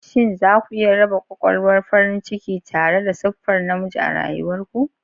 Shin za ku iya raba ƙwaƙwalwar farin ciki tare da siffar namiji a rayuwar ku?